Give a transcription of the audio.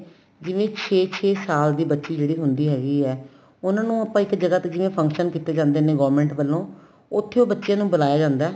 ਜਿਵੇਂ ਛੇ ਛੇ ਸਾਲ ਦੀ ਬੱਚੀ ਜਿਹੜੀ ਹੁੰਦੀ ਹੈਗੀ ਏ ਉਹਨਾਂ ਨੂੰ ਆਪਾਂ ਇੱਕ ਜਗ੍ਹਾ ਤੇ ਜਿਵੇਂ function ਕੀਤੇ ਜਾਂਦੇ ਨੇ government ਵਲੋ ਉੱਥੇ ਉਹ ਬੱਚੇ ਨੂੰ ਬੁਲਾਇਆ ਜਾਂਦਾ